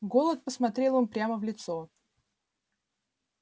голод посмотрел им прямо в лицо